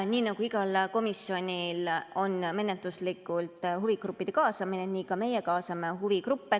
Nii nagu igas komisjonis toimub menetluslikult huvigruppide kaasamine, nii ka meie kaasame huvigruppe.